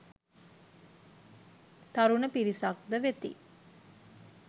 තරුණ පිරිසක්ද වෙති.